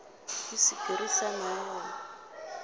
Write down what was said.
ke sephiri sa maemo a